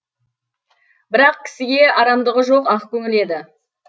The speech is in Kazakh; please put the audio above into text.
бірақ кісіге арамдығы жоқ ақкөңіл еді